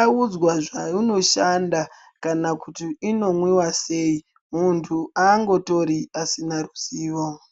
audzwa zvaunoshanda kana kuti inomwiwa sei muntu angotori asina ruzivo